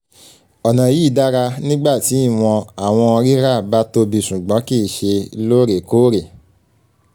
ọna yii dara nigba ti iwọn awọn rira ba tobi ṣugbọn kii ṣe loorekoore